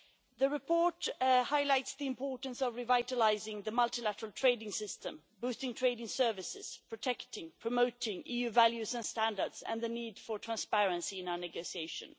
The report highlights the importance of revitalising the multilateral trading system, boosting trade in services, protecting and promoting EU values and standards, and the need for transparency in our negotiations.